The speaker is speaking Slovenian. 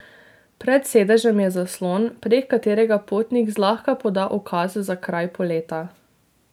Pred sedežem je zaslon, prek katerega potnik zlahka poda ukaz za kraj poleta.